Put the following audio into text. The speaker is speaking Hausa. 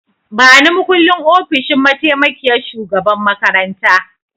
Bani makullin ofishin mataimakiyyar shugaban makaranta!